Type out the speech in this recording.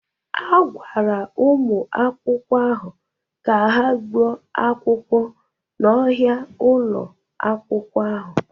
A gwara ụmụ akwụkwọ ahụ ka ha gbuo ahịhịa n'ọhịa ụlọ akwụkwọ.